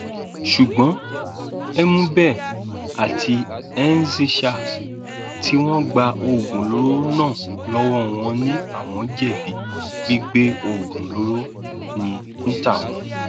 ṣùgbọn uméebẹ àti ezenshall tí wọn gba oògùn olóró náà lọwọ wọn ni àwọn jẹbi gbígbé oògùn olóró ní tàwọn